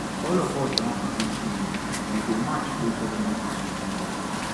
all of us don agree say we go march go government house tomorrow